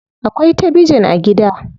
Akwai tabijin a gida.